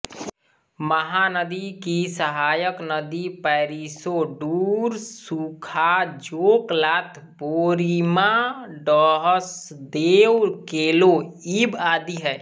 महानदी की सहायक नदी पैरीसोंढूरसूखाजोंकलात बोरईमांडहसदेवकेलो ईब आदि है